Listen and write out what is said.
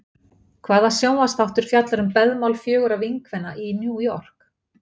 Hvaða sjónvarpsþáttur fjallar um beðmál fjögurra vinkvenna í New York?